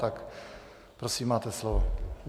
Tak prosím, máte slovo.